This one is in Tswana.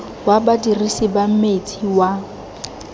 wa badirisi ba metsi wa